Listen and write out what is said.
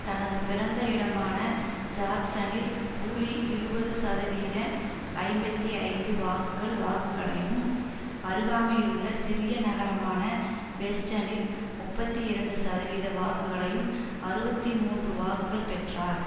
தனது பிறந்த இடமான ஜாக்சனில் கூலி இருபது சதவீத ஐம்பத்தி ஐந்து வாக்குகள் வாக்குகளையும் அருகாமையிலுள்ள சிறிய நகரமான வெஸ்டனில் முப்பத்தி இரண்டு சதவீத வாக்குகளையும் அறுபத்தி மூன்று வாக்குகள் பெற்றார்